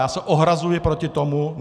Já se ohrazuji proti tomu!